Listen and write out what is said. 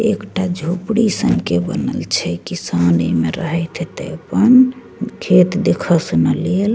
एकटा झोपड़ी सन के बनल छै किसान एमे रहत हतय अपन खेत देखे सुनय लेल।